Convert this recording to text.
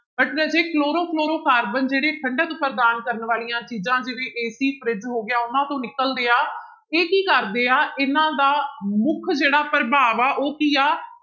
But ਰਾਜੇ chlorofluorocarbon ਜਿਹੜੇ ਠੰਢਕ ਪ਼੍ਰਦਾਨ ਕਰਨ ਵਾਲੀਆਂ ਚੀਜ਼ਾਂ ਜਿਵੇਂ AC fridge ਹੋ ਗਿਆ ਉਹਨਾਂ ਤੋਂ ਨਿਕਲਦੇ ਹੈ ਇਹ ਕੀ ਕਰਦੇ ਆ, ਇਹਨਾਂ ਦਾ ਮੁੱਖ ਜਿਹੜਾ ਪ੍ਰਭਾਵ ਆ ਉਹ ਕੀ ਆ